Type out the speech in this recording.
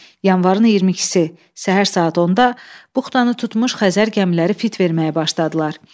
Yanvarın 22-si səhər saat 10-da buxtanı tutmuş Xəzər gəmiləri fit verməyə başladılar.